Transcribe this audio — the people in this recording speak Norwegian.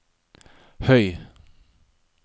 høy